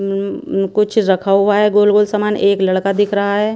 उम कुछ रखा हुआ है गोल गोल सामान एक लड़का दिख रहा है।